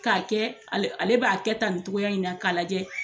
Ka kɛ, ale b'a kɛ tan nin cogoya in na ka lajɛ.